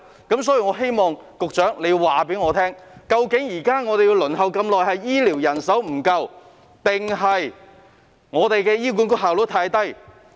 因此，我希望局長告訴我們，現時輪候時間長是由於醫療人手不足，還是醫管局的效率太低呢？